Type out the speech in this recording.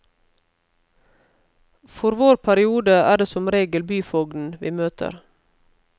For vår periode er det som regel byfogden vi møter.